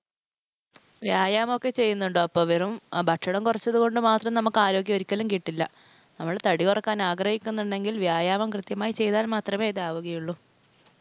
വ്യായാമം ഒക്കെ ചെയ്യുന്നുണ്ടോ? അപ്പൊ വെറും ഭക്ഷണം കുറച്ചതുകൊണ്ട് മാത്രം നമുക്ക് ആരോഗ്യം ഒരിക്കലും കിട്ടില്ല. നമ്മൾ തടികുറക്കാൻ ആഗ്രഹിക്കുന്നുണ്ടെങ്കിൽ വ്യായാമം കൃത്യമായി ചെയ്താൽ മാത്രമേ ഇതാവുകയുള്ളു.